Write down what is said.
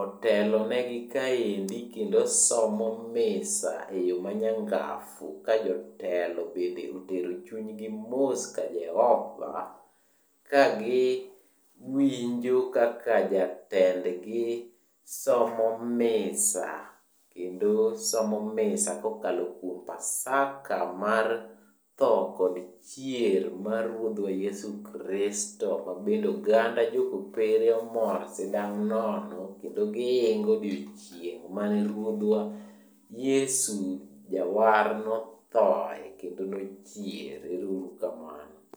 otelonegi kaendi kendo somo misa e yo manyangafu ka jotelo bende otero chunygi mos ka Jehova kagi winjo kaka jatendgi somo misa. Kendo somo misa kokalo kuom Pasaka mar tho kod chier mar Ruodhwa Yesu Kristo ma bende oganda jo Kopere omor sindang' nono kendo gihingo odiochieng' mane Ruodhwa Yesu Jawar nothoe kendo nochier. Ero uru kamano.